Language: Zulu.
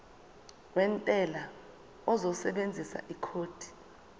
wentela uzosebenzisa ikhodi